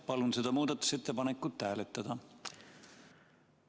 Palun seda muudatusettepanekut hääletada!